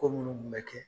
Ko minnu kun bɛ kɛ